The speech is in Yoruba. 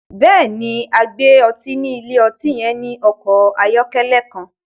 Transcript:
Bẹ́ẹ̀ni, agbè ọ̀tí ni ilẹ̀-ọ̀tí yẹn ni ọkọ ayọ̀kẹlẹ̀ kan